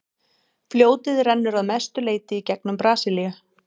fljótið rennur að mestu leyti í gegnum brasilíu